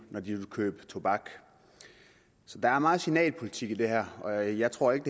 når de vil købe tobak så der er meget signalpolitik i det her og jeg tror ikke